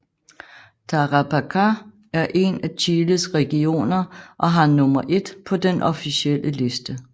Tarapacá er en af Chiles regioner og har nummer I på den officielle liste